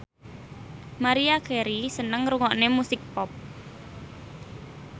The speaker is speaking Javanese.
Maria Carey seneng ngrungokne musik pop